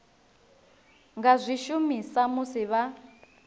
nga zwi shumisa musi vha